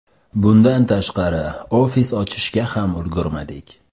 Bundan tashqari, ofis ochishga ham ulgurmadik.